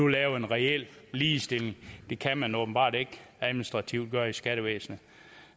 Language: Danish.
lave en reel ligestilling det kan man åbenbart ikke administrativt gøre i skattevæsenet